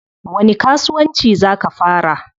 Wani kasuwanci zaa ka fara?